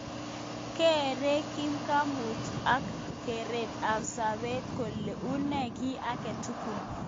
Kerei kipngamutik ab keret ab sabet kole unee ki age tugul.